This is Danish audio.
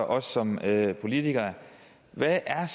os som politikere hvad er